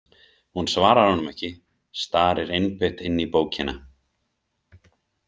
Hún svarar honum ekki, starir einbeitt inn í bókina.